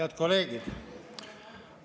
Head kolleegid!